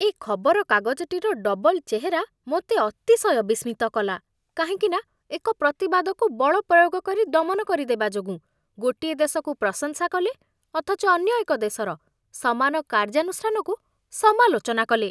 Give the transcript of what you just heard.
ଏ ଖବରକାଗଜଟିର ଡବଲ୍ ଚେହେରା ମୋତେ ଅତିଶୟ ବିସ୍ମିତ କଲା, କାହିଁକି ନା, ଏକ ପ୍ରତିବାଦକୁ ବଳ ପ୍ରୟୋଗ କରି ଦମନ କରିଦେବା ଯୋଗୁଁ ଗୋଟିଏ ଦେଶକୁ ପ୍ରଶଂସା କଲେ, ଅଥଚ ଅନ୍ୟ ଏକ ଦେଶର ସମାନ କାର୍ଯ୍ୟାନୁଷ୍ଠାନକୁ ସମାଲୋଚନା କଲେ।